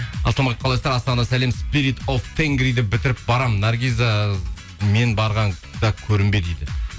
ассалаумағалейкум қалайсыздар астанадан сәлем бітіріп барамын наргиза мен барғанда көрінбе дейді